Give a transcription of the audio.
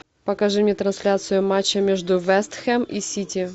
покажи мне трансляцию матча между вест хэм и сити